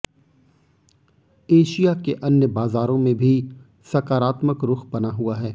Asia के अन्य बाजारों में भी सकारात्मक रुख बना हुआ है